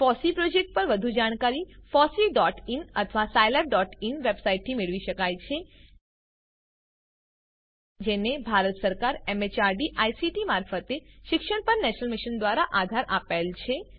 FOSSEE project પર વધુ જાણકારી fosseeઇન અથવા scilabઇન વેબસાઈટથી મેળવી શકાય છે જેને ભારત સરકાર એમએચઆરડી આઈસીટી મારફતે શિક્ષણ પર નેશનલ મિશન દ્વારા આધાર અપાયેલ છે